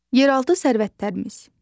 Yeraltı sərvətlərimiz.